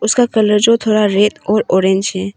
उसका कलर जो थोड़ा रेड और ऑरेंज है।